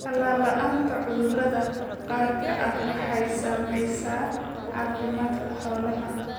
Tallaal la'aanta cudurrada gaarka ah waxay saamaysaa caafimaadka xoolaha.